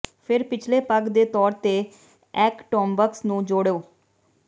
ਫਿਰ ਪਿਛਲੇ ਪਗ ਦੇ ਤੌਰ ਤੇ ਐਕ ਟੋਮਬਕਸ ਨੂੰ ਜੋੜੋ